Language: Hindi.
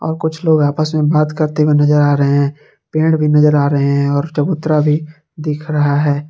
और कुछ लोग आपस में बात करते हुए नजर आ रहे हैं पेड़ भी नजर आ रहे हैं और चबूतरा भी दिख रहा है।